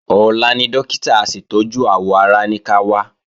Ọ̀la ni Dókítà aṣètọ́jú àwọ̀ ara ní ká wá